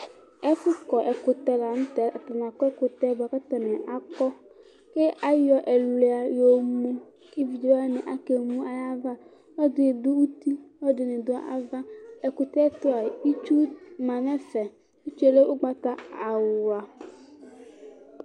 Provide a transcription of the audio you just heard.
Ɛfʋkɔ ɛkʋtɛ lanʋtɛ, atani akɔ ɛkʋtɛ kʋ atani akpɔ, kʋ ayɛ ɛluia yomʋ kʋ evidze wani dʋ uti, ɔlɔdini dʋ ava, ɛkʋtɛtʋ itsu manʋ ɛfɛ. Itsu lɛ ʋgbata awla.